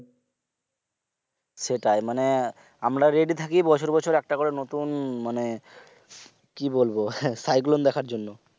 সেটাই মানে আমরা ready থাকি বছর বছর একটা করে নতুন মানে কি বলবো cyclone দেখার জন্য